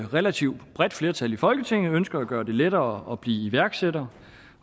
relativt bredt flertal i folketinget ønskede at gøre det lettere at blive iværksætter